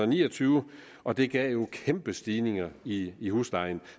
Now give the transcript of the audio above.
ni og tyve og det gav nogle kæmpe stigninger i i huslejen